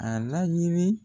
A laɲini